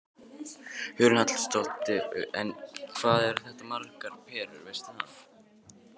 Hugrún Halldórsdóttir: En hvað eru þetta margar perur, veistu það?